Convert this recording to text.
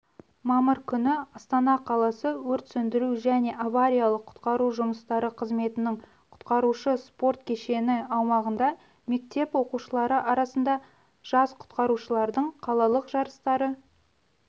мамыр күні астана қаласы өрт сөндіру және авариялық-құтқару жұмыстары қызметінің құтқарушы спорт кешені аумағында мектеп оқушылары арасында жас құтқарушылардың қалалық жарыстары